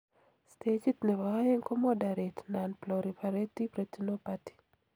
stagit nebo aeng ko moderate nonproliferative retinopathy